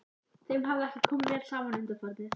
Þeim hafði ekki komið vel saman undanfarið.